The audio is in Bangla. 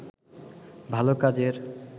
ভাল কাজের